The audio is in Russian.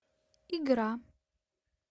игра